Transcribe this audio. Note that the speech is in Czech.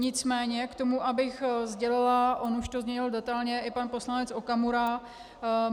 Nicméně k tomu, abych sdělila, on už to zmínil detailně i pan poslanec Okamura.